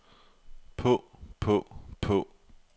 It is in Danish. på på på